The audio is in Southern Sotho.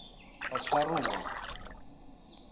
batshwaruwa